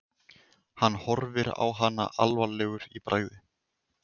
Hann horfir á hana alvarlegur í bragði.